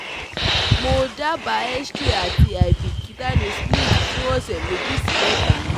Mo daba X-ray ati aibikita ni splint fun ọsẹ meji si meta